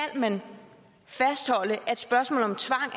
man fastholde at spørgsmål